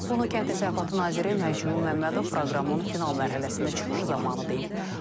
Bunu kənd təsərrüfatı naziri Məcnun Məmmədov proqramın final mərhələsində çıxışı zamanı deyib.